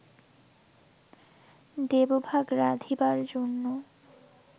দেবভাগ রাধিবার জন্য